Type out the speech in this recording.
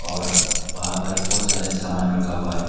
और वहां पर बहुत सारे समान रखा हुआ है।